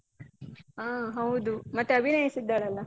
ಅಹ್ ಹೌದು ಮತ್ತೆ ಅಭಿನಯಸ ಇದ್ದಾಳಲ್ಲ?